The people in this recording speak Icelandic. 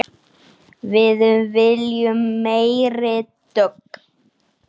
Við viljum meiri dögg!